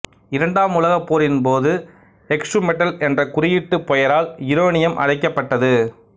இரண்டாம் உலகப் போரின்போது எக்சுமெட்டல் என்ற குறியீட்டுப் பெயரால் யுரேனியம் அழைக்கப்பட்ட்து